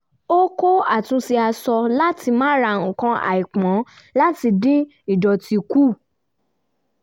ó kọ́ àtúnṣe aṣọ láti má ra nǹkan àìpọn láti dín ìdọ̀tí kù